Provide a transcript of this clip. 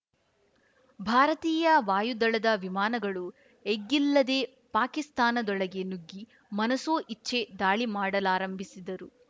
ಭಾರತೀಯ ವಾಯುದಳದ ವಿಮಾನಗಳು ಎಗ್ಗಿಲ್ಲದೆ ಪಾಕಿಸ್ತಾನದೊಳಗೆ ನುಗ್ಗಿ ಮನಸೋ ಇಚ್ಚೆ ದಾಳಿಮಾಡಲಾರಂಭಿಸಿದರು